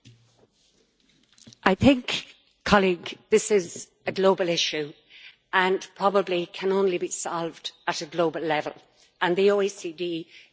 This is a global issue and probably can only be solved at a global level, and the OECD is doing some excellent work there with their BEPS project.